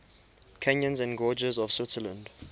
canyons and gorges of switzerland